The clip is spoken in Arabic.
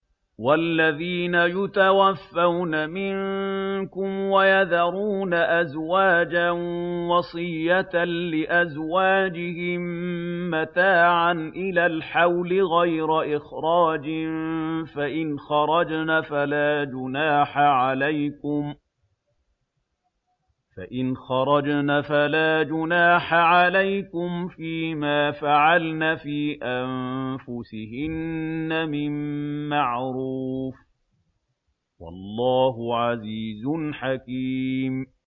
وَالَّذِينَ يُتَوَفَّوْنَ مِنكُمْ وَيَذَرُونَ أَزْوَاجًا وَصِيَّةً لِّأَزْوَاجِهِم مَّتَاعًا إِلَى الْحَوْلِ غَيْرَ إِخْرَاجٍ ۚ فَإِنْ خَرَجْنَ فَلَا جُنَاحَ عَلَيْكُمْ فِي مَا فَعَلْنَ فِي أَنفُسِهِنَّ مِن مَّعْرُوفٍ ۗ وَاللَّهُ عَزِيزٌ حَكِيمٌ